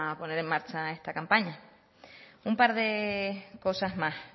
poner en marcha esta campaña un par de cosas más